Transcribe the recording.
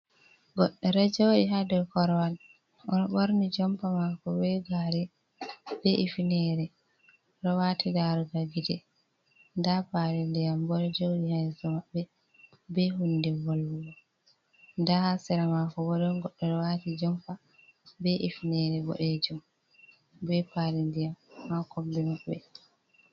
Goɗɗo ɗo joɗi ha dow korwal. O ɗo borni jompa mako be gare be kifnere o ɗo wati darugal gite. Nda pali ndiyam bo ɗo joɗi ha yeso maɓɓe be hunde volwugo. Nda ha sera mako bo ɗon goɗɗo ɗo wati jompa be kifnere boɗejum be pali ndiyam ha kombi maɓɓe.